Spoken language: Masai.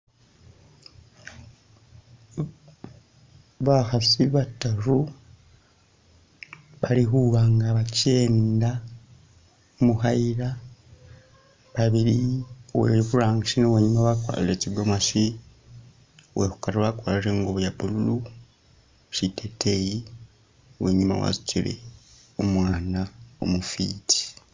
Bakhaasi bataru bali khuba nga bakenda mukhayila babili uweburangisi ni uwenyuma bakwalire tsigomesi uwekhukari wakwalire ingubo ilimo bwa blue shiteteyi uwenyuma wasutile umwaana umufiti